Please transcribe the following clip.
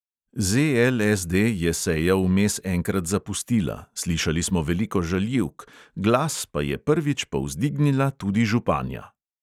ZLSD je sejo vmes enkrat zapustila, slišali smo veliko žaljivk, glas pa je prvič povzdignila tudi županja.